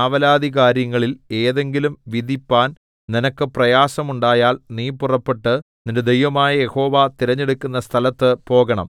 ആവലാധികാര്യങ്ങളിൽ ഏതെങ്കിലും വിധിപ്പാൻ നിനക്ക് പ്രയാസം ഉണ്ടായാൽ നീ പുറപ്പെട്ട് നിന്റെ ദൈവമായ യഹോവ തിരഞ്ഞെടുക്കുന്ന സ്ഥലത്ത് പോകണം